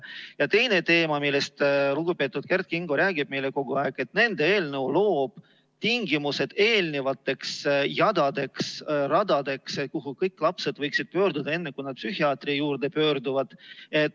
Ja teine teema, millest lugupeetud Kert Kingo meile kogu aeg räägib, on see, et nende eelnõu loob tingimused eelnevateks jadadeks-radadeks, mille kõik lapsed võiksid läbida enne, kui nad psühhiaatri poole pöörduvad.